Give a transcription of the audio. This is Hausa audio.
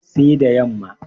sai da yamma